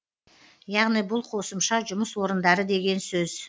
яғни бұл қосымша жұмыс орындары деген сөз